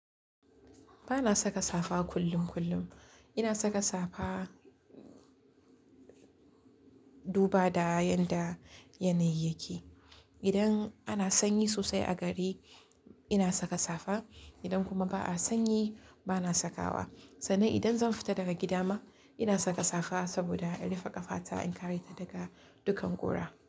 Ba na saka safa kullum kullum. Ina saka safa duba da yanda yanayi yake. Idan ana sanyi sosai a gari ina saka safa, idan kuma ba a sanyi ba na saka wa. Sannan idan zan fita daga gida ma ina saka safa saboda in rufe ƙafata in kare kaina daga dukkan ƙura.